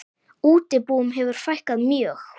Útibúum hefur fækkað mjög.